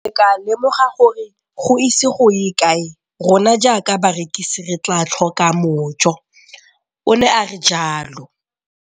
Ke ne ka lemoga gore go ise go ye kae rona jaaka barekise re tla tlhoka mojo, o ne a re jalo.